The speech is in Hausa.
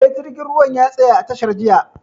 Eh, jirgin ruwan ya tsaya a tashar jiya